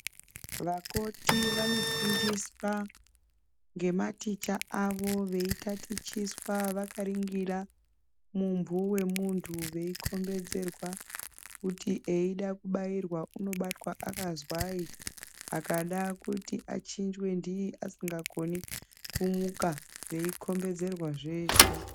Vakoti vanofundiswa ngema ticha avo veitatichiswa vakariningira mumbu wemuntu veikombedzerwa kuti eyida kubayirwa anobatwa akazwai akada kuti achinjwe ndii asingakoni kumuka veikombedzerwa zveshe.